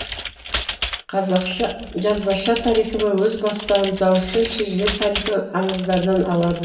жазбаша тарихнама өз бастауын ауызша шежіре тарихи аңыздардан алады